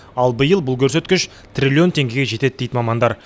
ал биыл бұл көрсеткіш триллион теңгеге жетеді дейді мамандар